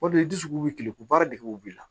O de dusukun bɛ kilen ko baara degew b'i la